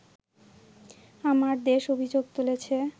‘আমার দেশ’ অভিযোগ তুলেছে